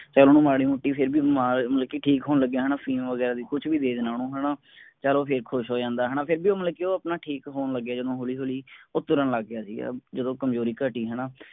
ਚਲ ਹੁਣ ਮਾੜੀ ਮੋਟੀ ਫੇਰ ਵੀ ਮਤਲਬ ਠੀਕ ਹੋਣ ਲੱਗਿਆ ਹੈਨਾ ਅਫੀਮ ਵਗੈਰਾ ਵੀ ਕੁੱਛ ਵੀ ਦੇ ਦੇਣਾ ਓਹਨੂੰ ਹੈਨਾ ਚਲੋ ਉਹ ਫੇਰ ਖੁਸ਼ ਹੋ ਜਾਂਦਾ ਹੈਨਾ। ਫੇਰ ਵੀ ਉਹ ਮਤਲਬ ਕਿ ਉਹ ਠੀਕ ਹੋਣ ਲੱਗਿਆ ਜਦੋ ਹੌਲੀ ਹੌਲੀ ਉ ਤਰਨ ਲੱਗ ਗਿਆ ਸੀਗਾ ਜਦੋਂ ਕਮਜ਼ੋਰੀ ਘਟੀ ਹੈਨਾ।